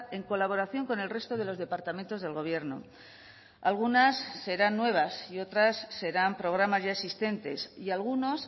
en colaboración con el resto de los departamentos del gobierno algunas serán nuevas y otras serán programas ya existentes y algunos